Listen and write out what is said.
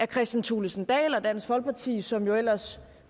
kristian thulesen dahl og dansk folkeparti som ellers